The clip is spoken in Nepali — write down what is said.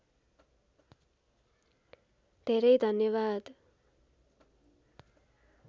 धेरै धन्यवाद